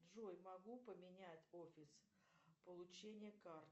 джой могу поменять офис получения карты